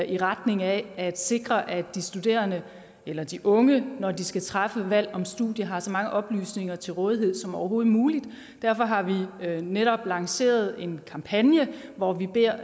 i retning af at sikre at de studerende eller de unge når de skal træffe et valg om studie har så mange oplysninger til rådighed som overhovedet muligt derfor har vi netop lanceret en kampagne hvor vi beder